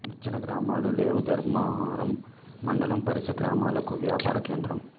నిర్జన గ్రామాలు లేవుధర్మారం మండలం పరిసర గ్రామాలకు వ్యాపార కేంద్రం